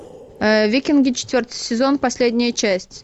викинги четвертый сезон последняя часть